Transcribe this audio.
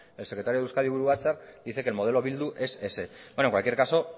el secretario del euskadi buru batzar dice que el modelo bildu es ese bueno en cualquier caso